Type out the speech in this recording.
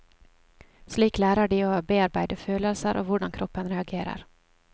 Slik lærer de å bearbeide følelser og hvordan kroppen reagerer.